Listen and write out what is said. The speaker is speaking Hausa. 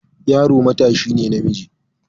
Yaro matashi ne namiji.